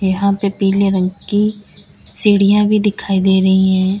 यहां पे पीले रंग की सीढ़ियां भी दिखाई दे रही है।